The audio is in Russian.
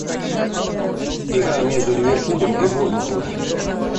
игра между ливерпулем и борнмутом